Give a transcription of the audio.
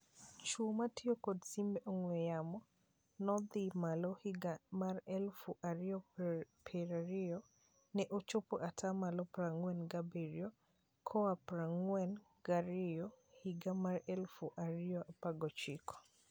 Chwo matio kod simbe ong'we yamo nodhi malo higa mar eluf ario prario. Ne ochopo atamalo prang'wen gabirio koa prang'wen gario higa mar eluf ario apar gochiko.